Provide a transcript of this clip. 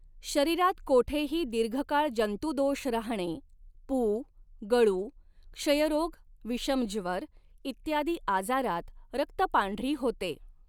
शरीरात कोठेही दीर्घकाळ जंतुदोष राहणे पू गळू क्षयरोग विषमज्वर इत्यादी आजारांत रक्तपांढरी होते.